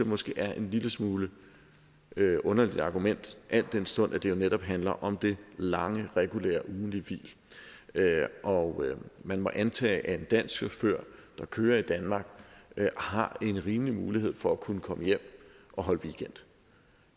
måske er en lille smule underligt et argument al den stund at det jo netop handler om det lange regulære ugentlige hvil og man må antage at en dansk chauffør der kører i danmark har en rimelig mulighed for kunne komme hjem og holde weekend